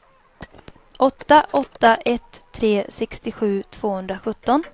åtta åtta ett tre sextiosju tvåhundrasjutton